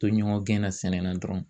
To ɲɔgɔn gɛnna sɛnɛ na dɔrɔn